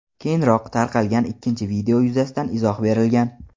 keyinroq tarqalgan ikkinchi video yuzasidan izoh berilgan.